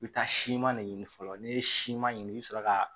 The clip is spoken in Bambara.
I bɛ taa siman ne ɲini fɔlɔ n'i ye siman ɲini i bɛ sɔrɔ ka